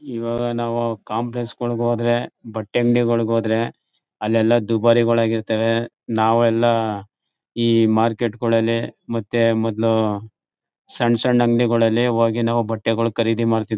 ಈವಾಗ ನಾವು ಕಾಂಪ್ಲೆಸ್ಗಳಿಗೆ ಹೋದ್ರೆ ಬಟ್ಟೆ ಅಂಗಡಿಗಳಿಗೆ ಹೋದ್ರೆ ಅಲ್ ಎಲ್ಲಾ ದುಬಾರಿಗಳಾಗಿರ್ತದೆ. ನಾವು ಎಲ್ಲಾ ಈ ಮಾರ್ಕೆಟ್ಗಳಲ್ಲೇ ಮತ್ತೆ ಮೊದ್ಲು ಸಣ್ಣ್ ಸಣ್ಣ್ ಅಂಗಡಿಗಳಲ್ಲಿ ಹೋಗಿ ಬಟ್ಟೆಗಳು ಖರೀದಿ ಮಾಡ್ತಿದ್ವಿ.